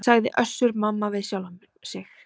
sagði Össur-Mamma við sjálfan sig.